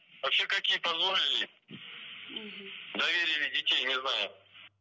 вообще как ей позволили мхм доверили детей не знаю